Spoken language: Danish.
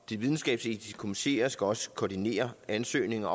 de videnskabsetiske komiteer skal også koordinere ansøgninger